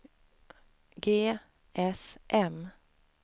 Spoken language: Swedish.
GSM